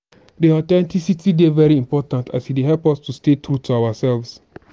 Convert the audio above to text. di authenticity dey very important as e dey help us to stay true to ourselves.